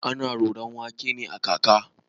Ana roron wake ne da kaka.